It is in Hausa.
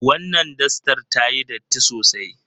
Wannan dastar tayi datti sosai.